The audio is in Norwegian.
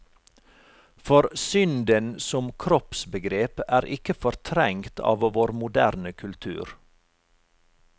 For synden som kroppsbegrep er ikke fortrengt av vår moderne kultur.